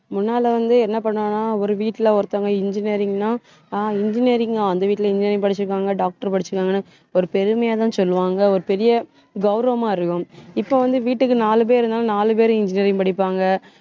முன்னால வந்து, என்ன பண்ணுவாங்கன்னா ஒரு வீட்டுல ஒருத்தவங்க engineering ன்னா ஆஹ் engineering ஆ அந்த வீட்டுல engineering படிச்சிருக்காங்க doctor படிச்சிருக்காங்கன்னு, ஒரு பெருமையாதான் சொல்லுவாங்க. ஒரு பெரிய கௌரவமா இருக்கும் இப்போ வந்து வீட்டுக்கு நாலு பேர் இருந்தாலும் நாலு பேர் engineering படிப்பாங்க